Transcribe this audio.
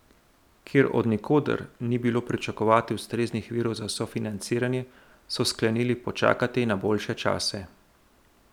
Ker od nikoder ni bilo pričakovati ustreznih virov za sofinanciranje, so sklenili počakati na boljše čase.